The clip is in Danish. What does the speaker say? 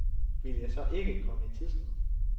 Ville jeg så ikke komme i tidsnød?